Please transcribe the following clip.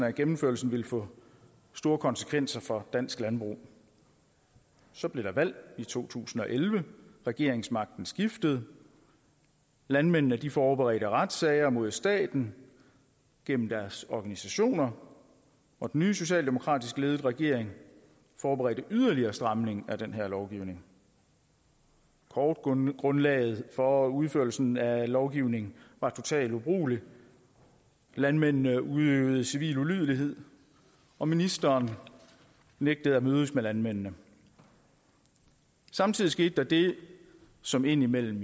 at gennemførelsen ville få store konsekvenser for dansk landbrug så blev der valg i to tusind og elleve regeringsmagten skiftede landmændene forberedte retssager mod staten gennem deres organisationer og den nye socialdemokratisk ledede regering forberedte yderligere stramning af den her lovgivning kortgrundlaget for udførelsen af lovgivningen var totalt ubrugeligt landmændene udøvede civil ulydighed og ministeren nægtede at mødes med landmændene samtidig skete der det som jo indimellem